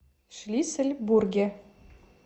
шлиссельбурге